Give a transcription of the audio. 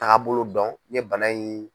Taagabolo dɔn, ne bana in.